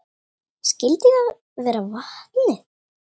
Skyldi það vera vatnið?